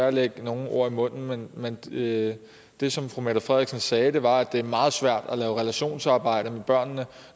at lægge nogen ord i munden men det det som fru mette frederiksen sagde var at det er meget svært at lave relationsarbejde med børnene